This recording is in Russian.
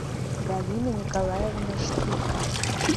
галина николаевна штыка